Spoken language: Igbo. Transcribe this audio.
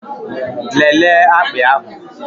Lelee akpị ahụ!